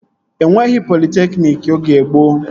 E nweghị politekniki oge gboo